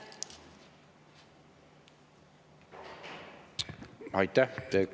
Aitäh!